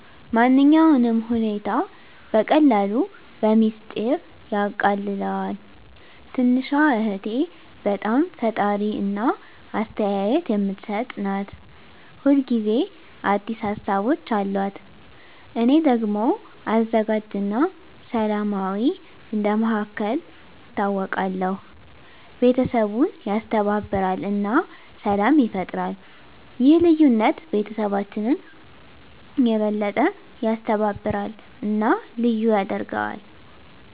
ማንኛውንም ሁኔታ በቀላሉ በሚስጥር ያቃልለዋል። **ትንሹ እህቴ** በጣም ፈጣሪ እና አስተያየት የምትሰጥ ናት። ሁል ጊዜ አዲስ ሀሳቦች አሉት። **እኔ** ደግሞ አዘጋጅ እና ሰላማዊ እንደ መሃከል ይታወቃለሁ። ቤተሰቡን ያስተባብራል እና ሰላም ይፈጥራል። ይህ ልዩነት ቤተሰባችንን የበለጠ ያስተባብራል እና ልዩ ያደርገዋል።